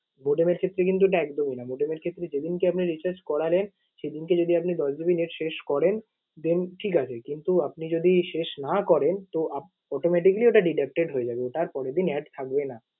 modem এর ক্ষেত্রে কিন্তু ওটা একদম এই না। Modem এর ক্ষেত্রে যেদিন কে আপনি recharge করালেন, সেদিনকে যদি আপনি দশ GB net শেষ করেন then ঠিক আছে কিন্তু আপনি যদি শেষ না করেন তো আপ~ automatically ওটা deducted হয়ে যাবে। ওটা আর কোনদিন add থাকবেনা।